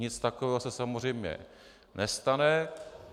Nic takového se samozřejmě nestane.